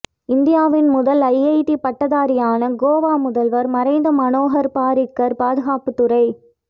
இந்தியாவின் முதல் ஐஐடி பட்டாதாரியான கோவா முதல்வர் மறைந்த மனோகர் பாரிக்கர் பாதுகாப்புத்துறை